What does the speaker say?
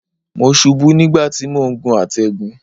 Mo ṣubú nígbà tí mò ń gun àtẹ̀gùn.